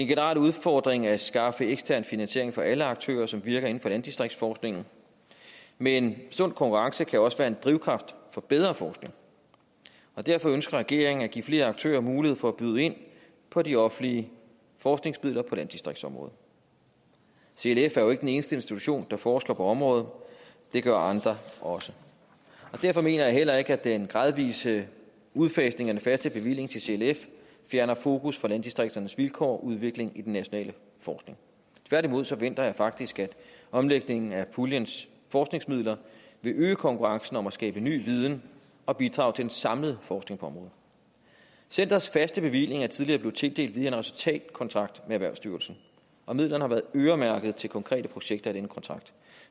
generel udfordring at skaffe ekstern finansiering for alle aktører som virker inden for landdistriktsforskningen men en sund konkurrence kan jo også være en drivkraft for bedre forskning og derfor ønsker regeringen at give flere aktører mulighed for at byde ind på de offentlige forskningsmidler på landdistriktsområdet clf er jo ikke den eneste institution der forsker på området det gør andre også og derfor mener jeg heller ikke at den gradvise udfasning af den faste bevilling til clf fjerner fokus fra landdistrikternes vilkår og udvikling i den nationale forskning tværtimod forventer jeg faktisk at omlægningen af puljens forskningsmidler vil øge konkurrencen om at skabe ny viden og bidrage til den samlede forskning på området centerets faste bevilling er tidligere blevet tildelt via en resultatkontrakt med erhvervsstyrelsen og midlerne har været øremærket til konkrete projekter i denne kontrakt